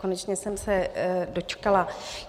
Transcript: Konečně jsem se dočkala.